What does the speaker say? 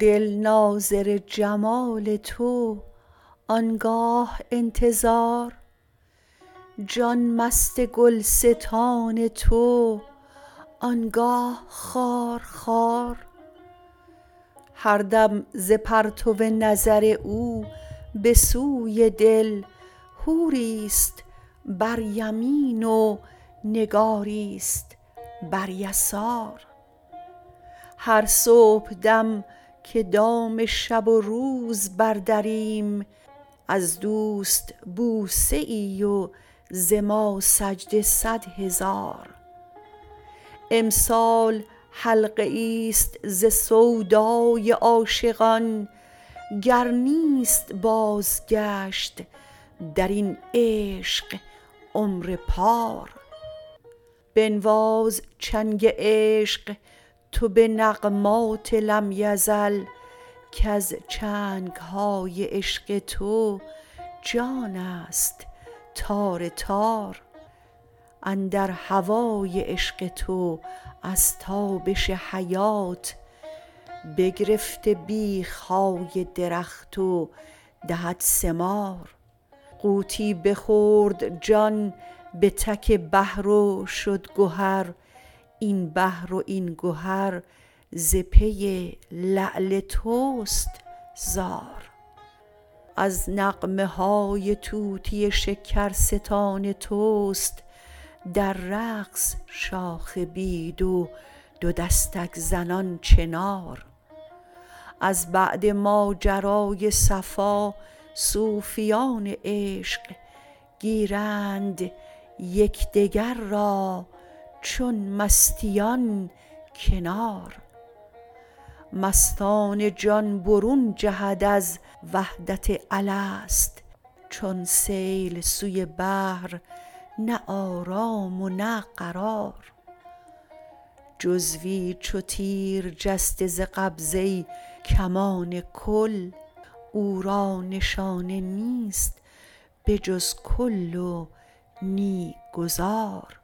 دل ناظر جمال تو آن گاه انتظار جان مست گلستان تو آن گاه خار خار هر دم ز پرتو نظر او به سوی دل حوریست بر یمین و نگاریست بر یسار هر صبحدم که دام شب و روز بردریم از دوست بوسه ای و ز ما سجده صد هزار امسال حلقه ایست ز سودای عاشقان گر نیست بازگشت در این عشق عمر پار بنواز چنگ عشق تو به نغمات لم یزل کز چنگ های عشق تو جانست تار تار اندر هوای عشق تو از تابش حیات بگرفته بیخ های درخت و دهد ثمار غوطی بخورد جان به تک بحر و شد گهر این بحر و این گهر ز پی لعل توست زار از نغمه های طوطی شکرستان توست در رقص شاخ بید و دو دستک زنان چنار از بعد ماجرای صفا صوفیان عشق گیرند یک دگر را چون مستیان کنار مستانه جان برون جهد از وحدت الست چون سیل سوی بحر نه آرام و نه قرار جزوی چو تیر جسته ز قبضه کمان کل او را نشانه نیست به جز کل و نی گذار